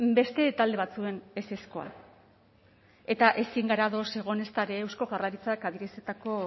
beste talde batzuen ezezkoa eta ezin gara ados egon ezta ere eusko jaurlaritzak adierazitako